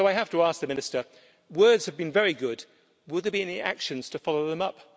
So I have to ask the Minister words have been very good, will there be any actions to follow them up?